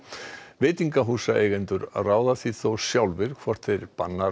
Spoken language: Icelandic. veitingahúsaeigendur ráða því þó sjálfir hvort þeir banna